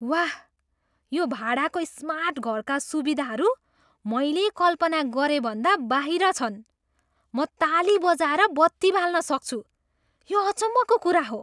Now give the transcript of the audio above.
वाह, यो भाडाको स्मार्ट घरका सुविधाहरू मैले कल्पना गरेभन्दा बाहिर छन्। म ताली बजाएर बत्ती बाल्न सक्छु, यो अचम्मको कुरा हो!